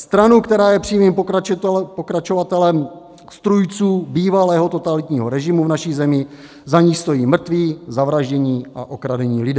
Stranu, která je přímým pokračovatelem strůjců bývalého totalitního režimu v naší zemi, za níž stojí mrtví, zavraždění a okradení lidé.